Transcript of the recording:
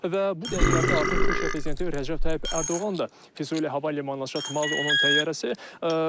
Və bu dəqiqələrdə artıq Türkiyə prezidenti Rəcəb Tayyib Ərdoğan da Füzuli hava limanına çatdı onun təyyarəsi.